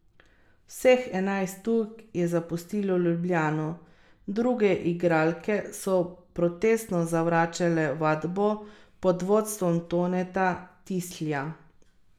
Partnerji napovedujejo, da bodo po izglasovanem vetu državnih svetnikov ponovno potrdili zakon o drugem tiru ter zakon o vajeništvu.